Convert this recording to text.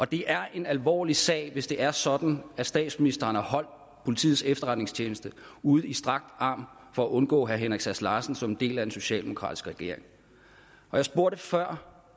det er en alvorlig sag hvis det er sådan at statsministeren har holdt politiets efterretningstjeneste ud i strakt arm for at undgå herre henrik sass larsen som en del af en socialdemokratisk regering jeg spurgte før